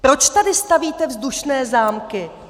Proč tady stavíte vzdušné zámky?